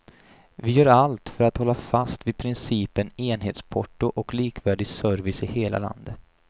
Vi gör allt vi kan för att hålla fast vid principen enhetsporto och likvärdig service i hela landet.